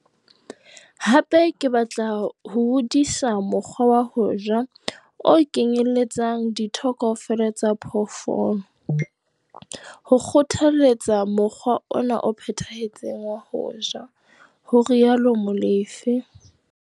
"Hape ke batla ho hodisa mokgwa wa ho ja o kenyeletsang ditho kaofela tsa phoofolo, ho kgothaletsa mokgwa ona o phethahetseng wa ho ja," ho rialo Molefe.